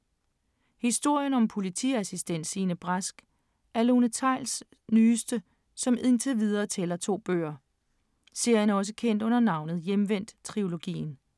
Historien om politiassistent Signe Brask er Lone Theils' nyeste, som indtil videre tæller to bøger. Serien er også kendt under navnet Hjemvendt-trilogien.